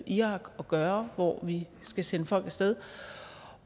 irak at gøre hvor vi skal sende folk af sted